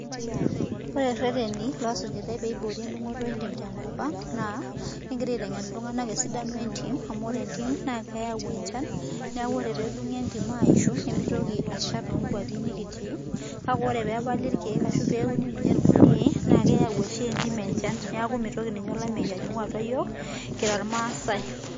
ore irereti loo sujutai pee naa kegitai aitengen iltunganak naapeeeyau enchan neeku ore pee epali ilkeek naa mitoki oleyu anyikaki niche iyiook ilmaasai.